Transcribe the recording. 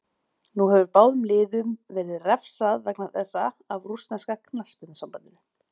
Nú hefur báðum liðum verið refsað vegna þessa af rússneska knattspyrnusambandinu.